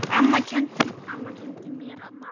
Amma kenndi mér margt.